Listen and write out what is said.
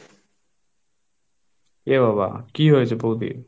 এ বাবা কি হয়েছে বৌদির?